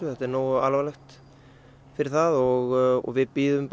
þetta er nógu alvarlegt fyrir það og við bíðum